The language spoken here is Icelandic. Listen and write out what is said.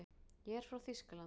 Ég er frá Þýskalandi.